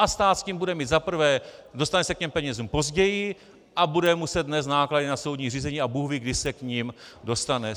A stát s tím bude mít za prvé - dostane se k těm penězům později a bude muset nést náklady na soudní řízení a bůhví kdy se k nim dostane.